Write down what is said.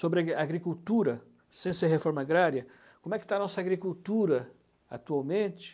sobre agricultura, ciência e reforma agrária, como é que está a nossa agricultura atualmente.